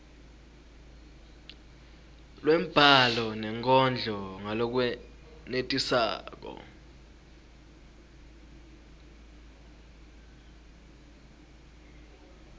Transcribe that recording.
lwembhalo nenkondlo ngalokwenetisako